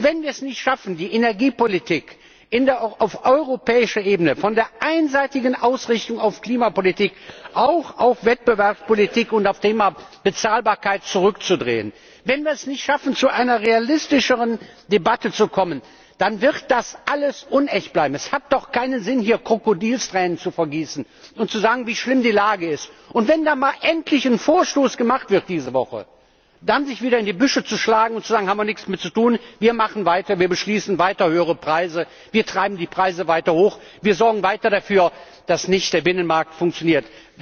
Und wenn wir es nicht schaffen, die Energiepolitik auf europäischer Ebene von der einseitigen Ausrichtung auf Klimapolitik auch auf Wettbewerbspolitik und auf das Thema Bezahlbarkeit zurückzudrehen, wenn wir es nicht schaffen, zu einer realistischeren Debatte zu kommen, dann wird das alles unecht bleiben! Es hat doch keinen Sinn, hier Krokodilstränen zu vergießen und zu sagen, wie schlimm die Lage ist, und wenn dann diese Woche endlich mal ein Vorstoß gemacht wird, sich dann wieder in die Büsche zu schlagen und zu sagen Wir haben nichts damit zu tun, wir machen weiter, wir beschließen weiter höhere Preise, wir treiben die Preise weiter hoch, wir sorgen weiter dafür, dass der Binnenmarkt nicht funktioniert.